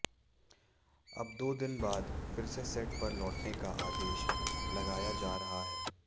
अब दो दिन बाद फिरसे सेट पर लौटने का अदेशा लगाया जा रहा है